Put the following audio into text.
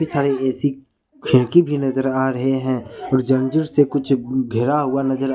इतने सारे ए_सी खिड़की भी नजर आ रहे हैं और जंजीर से कुछ घिरा हुआ नजर--